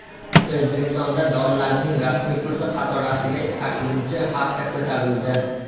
O‘zbekistonda dollarning rasmiy kursi qatorasiga sakkizinchi hafta ko‘tarildi.